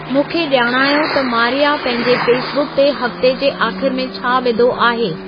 मूंखे ॼाणायो त मारिया पंहिंजे फेसबुक ते हफ़्ते जे आख़िर में छा विधो आहे